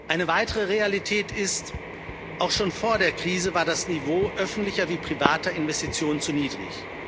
Eine weitere Realität ist Auch schon vor der Krise war das Niveau öffentlicher wie privater Investitionen zu niedrig.